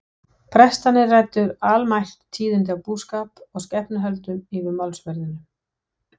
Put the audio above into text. Prestarnir ræddu almælt tíðindi af búskap og skepnuhöldum yfir málsverðinum.